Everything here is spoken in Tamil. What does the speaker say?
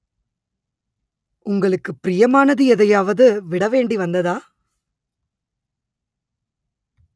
உங்களுக்கு ப்ரியமானது எதையாவது விட வேண்டி வந்ததா